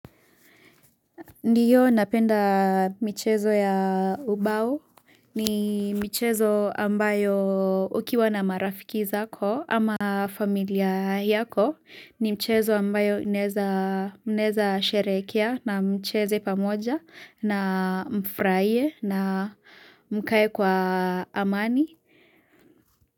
Ndio napenda michezo ya ubao ni michezo ambayo ukiwa na marafiki zako ama familia yako ni mchezo ambayo inaeza mnaeza sherekea na mcheze pamoja na mfraie na mkae kwa amani.